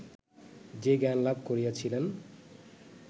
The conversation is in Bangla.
যে জ্ঞানলাভ করিয়াছিলেন